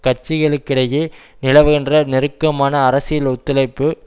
கட்சிகளுக்கிடையே நிலவுகின்ற நெருக்கமான அரசியல் ஒத்துழைப்பு